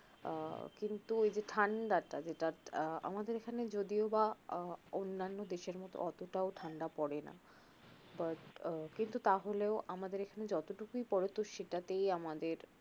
আহ কিন্তু ঐযে ঠাণ্ডা টা যেটা আহ আমাদের এখানে যদিও বা আহ অন্যান্য দেশের মতো ওতটাও ঠাণ্ডা পড়ে না but আহ কিন্তু তাহলেও আমাদের এখানে যতটুকু পড়ে তো সেটাতেই আমাদের